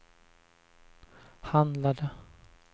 handlade